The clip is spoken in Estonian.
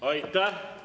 Aitäh!